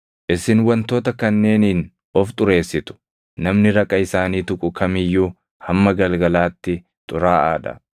“ ‘Isin wantoota kanneeniin of xureessitu; namni raqa isaanii tuqu kam iyyuu hamma galgalaatti xuraaʼaa dha.